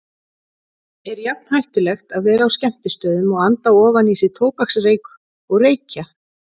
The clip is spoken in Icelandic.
Er jafn hættulegt að vera á skemmtistöðum og anda ofan í sig tóbaksreyk og reykja?